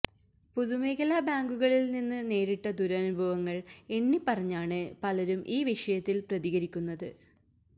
പൊതുമേഖലാ ബാങ്കുകളിൽ നിന്ന് നേരിട്ട ദുരനുഭവങ്ങൾ എണ്ണിപ്പറഞ്ഞാണ് പലരും ഈ വിഷയത്തിൽ പ്രതികരിക്കുന്നത്